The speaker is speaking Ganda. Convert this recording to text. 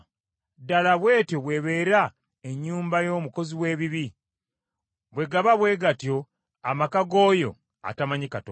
Ddala bw’etyo bw’ebeera ennyumba y’omukozi w’ebibi; bwe gaba bwe gatyo amaka g’oyo atamanyi Katonda.”